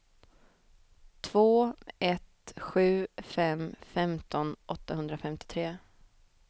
två ett sju fem femton åttahundrafemtiotre